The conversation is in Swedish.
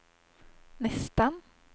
nästan